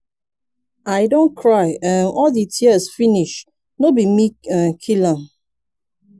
haba! na who come do dis kin thing dis early morning.